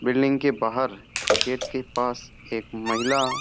building के बाहर gate के पास एक महिला --